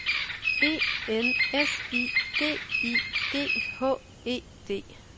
E N S I D I G H E D